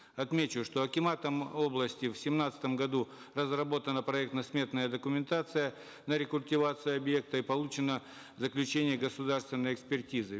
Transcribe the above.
отмечу что акиматом области в семнадцатом году разработана проектно сметная документация на рекультивацию объекта и получено заключение государственной экспертизы